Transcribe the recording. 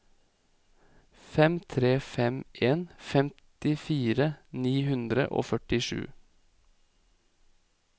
fem tre fem en femtifire ni hundre og førtisju